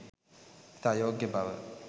ඉතා යෝග්‍ය බව